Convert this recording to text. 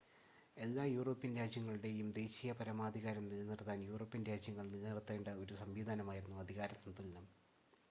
എല്ലാ യൂറോപ്യൻ രാജ്യങ്ങളുടെയും ദേശീയ പരമാധികാരം നിലനിർത്താൻ യൂറോപ്യൻ രാജ്യങ്ങൾ നിലനിർത്തേണ്ട ഒരു സംവിധാനമായിരുന്നു അധികാര സന്തുലനം